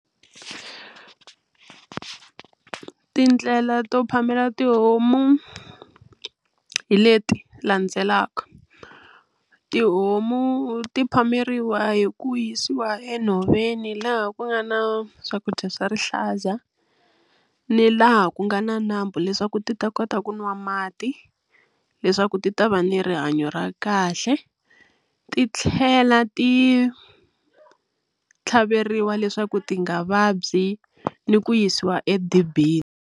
Tindlela to phamela tihomu hi leti landzelaka tihomu ti phameriwa hi ku yisiwa enhoveni laha ku nga na swakudya swa rihlaza ni laha ku nga na nambu leswaku ti ta kota ku nwa mati leswaku ti ta va ni rihanyo ra kahle ti tlhela ti tlhaveriwa leswaku ti nga vabyi ni ku yisiwa edibini.